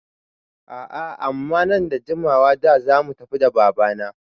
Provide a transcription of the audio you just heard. A'a amma nan bada jimawa ba zamu tafi da baba na